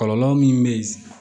Kɔlɔlɔ min bɛ